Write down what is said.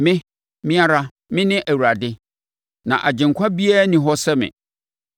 Me, Me ara, Mene Awurade, na agyenkwa biara nni hɔ sɛ me.